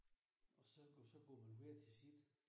Og så og så går man hver til sit